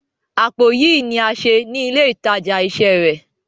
Àpò yìí ní a ṣe ni ile ìtajà isẹ rẹ.